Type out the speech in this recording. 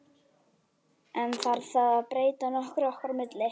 En þarf það að breyta nokkru okkar á milli?